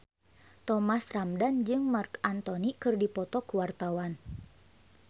Thomas Ramdhan jeung Marc Anthony keur dipoto ku wartawan